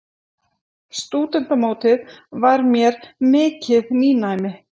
Stúdentamótið var mér mikið nýnæmi.